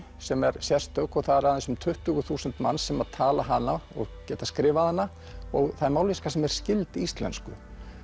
sem er sérstök og það eru aðeins um tuttugu þúsund manns sem tala hana og geta skrifað hana og það er mállýska sem er skyld íslensku